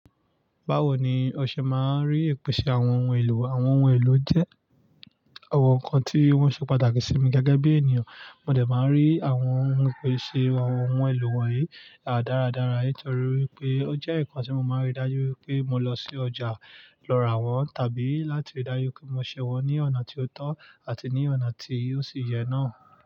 Báwo ni ọṣẹ máa ń rí ìpèsè àwọn ohun èlò? Àwọn ohun èlò jẹ́ àwọn nǹkan tí wọ́n ṣe pàtàkì sí mi gẹ́gẹ́ bí ènìyàn, mo dẹ̀ máa ń rí àwọn ìpèsè àwọn ohun èlò wọ̀nyí dáradára nítorí pé ó jẹ́ nǹkan tí mo máa ń rí dájú wípé mo lọ sí ọjà lọ rà wọ́n tàbí láti rí dájú pé mo ṣe wọ́n ní ọ̀nà tí ó tọ́ àti ní ọ̀nà tí ó sì yẹ náà.